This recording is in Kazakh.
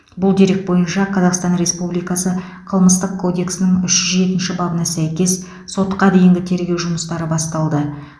бұл дерек бойынша қазақстан республикасы қылмыстық кодексінің үш жүз жетінші бабына сәйкес сотқа дейінгі тергеу жұмыстары басталды